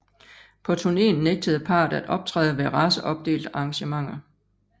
På turneen nægtede parret at optræde ved raceopdelte arrangementer